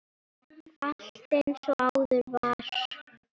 Allt eins og áður var.